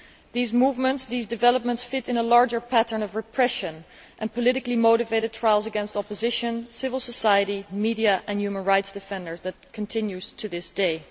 These developments fit into a larger pattern of repression and politically motivated trials against opposition activists, civil society, the media and human rights defenders that continues to this day.